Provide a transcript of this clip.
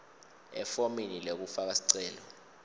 efomini lekufaka sicelo